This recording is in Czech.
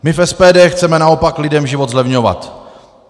My v SPD chceme naopak lidem život zlevňovat.